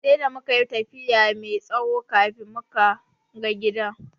Sai da mukayi tafiya mai tsawo kafin muka ga gidan.